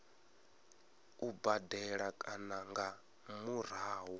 u badela kana nga murahu